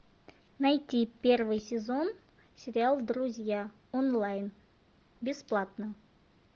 найти первый сезон сериал друзья онлайн бесплатно